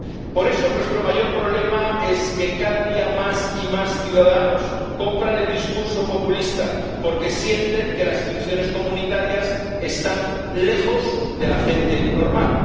Por eso, nuestro mayor problema es que cada día más y más ciudadanos compran el discurso populista porque sienten que las instituciones comunitarias están lejos de la gente normal